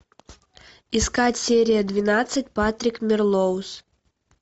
искать серия двенадцать патрик мелроуз